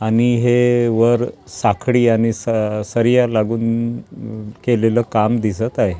आणि हे वर साखळी आणि स सरीया लागून केलेलं काम दिसत आहे.